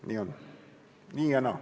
Nii on, nii ja naa.